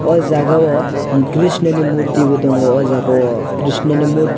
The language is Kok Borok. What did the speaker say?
aw jaaga o krishna ni murti bo tongo aw jaaga o krishno ni murti.